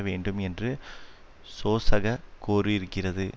வேண்டும் என்று சோசக கோரியிருக்கிறது